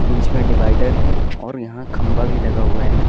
बीच में डिवाइडर है और यहां खंभा भी लगा हुआ है ना।